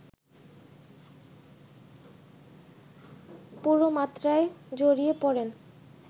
পুরোমাত্রায় জড়িয়ে পড়েন